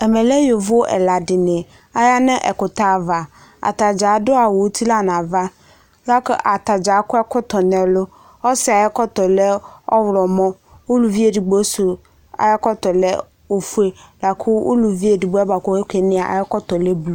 Amɛ la yovo ɛla dini yanʋ ɛkʋtɛ ava ata dza adʋ awʋ ʋti nʋ ava lakʋ atadza akɔ ɛkɔtɔ nʋ ɛlʋ asɩ ayʋ ɛkɔtɔ lɛ ɔwlɔmɔ ʋlʋvi edigbk sʋ lɛ ofʋe kʋ olʋ onɛ suɛ lɛ blu